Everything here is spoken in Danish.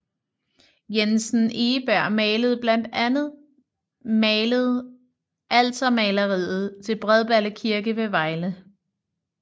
Jensen Egeberg malede blandt andet malet altermaleriet til Bredballe Kirke ved Vejle